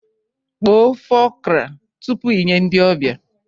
Kpoo ofe okra tupu i nye ndị ọbịa